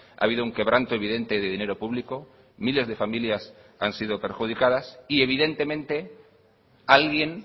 ha habido un quebranto evidente de dinero público miles de familias han sido perjudicadas y evidentemente alguien